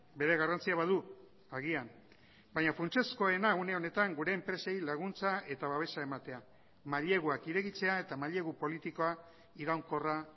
bere garrantzia badu agian baina funtsezkoena une honetan gure enpresei laguntza eta babesa ematea maileguak irekitzea eta mailegu politikoa iraunkorra